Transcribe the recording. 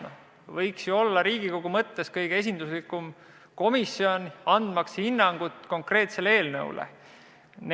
See võiks ju olla Riigikogu kõige esinduslikum komisjon, andmaks hinnangut konkreetsele eelnõule.